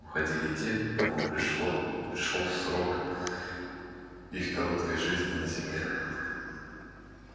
уходили те кому пришло пришёл срок их короткой жизни на земле